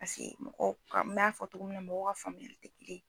Paseke mɔgɔw n m'a fɔ cogo min na mɔgɔw ka faamuyali tɛ kelen ye.